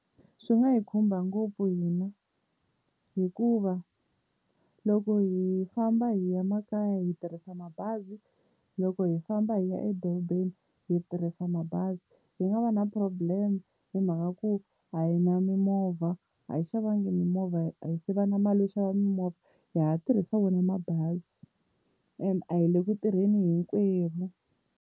Swi nga hi khumba ngopfu hina hikuva loko hi famba hi ya makaya hi tirhisa mabazi loko hi famba hi ya edorobeni hi tirhisa mabazi hi nga va na problem hi mhaka ku a hi na mimovha, a hi xavangi mimovha a hi se va na mali yo xava movha ha ha tirhisa wona mabazi and a hi le ku tirheni hikwerhu.